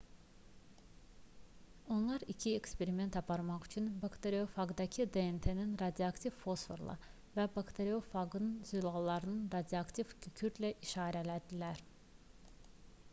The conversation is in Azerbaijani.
onlar iki eksperiment aparmaq üçün bakteriyofaqdakı dnt-ni radioaktiv fosforla və bakteriyofaqın zülallarını radioaktiv kükürdlə işarələdilər